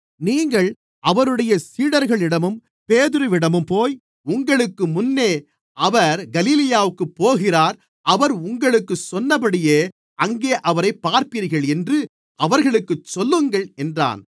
நீங்கள் அவருடைய சீடர்களிடமும் பேதுருவிடமும்போய் உங்களுக்கு முன்னே அவர் கலிலேயாவிற்குப் போகிறார் அவர் உங்களுக்குச் சொன்னபடியே அங்கே அவரைப் பார்ப்பீர்கள் என்று அவர்களுக்குச் சொல்லுங்கள் என்றான்